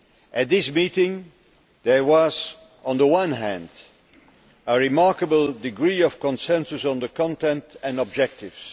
At the meeting there was, on the one hand, a remarkable degree of consensus on the content and objectives.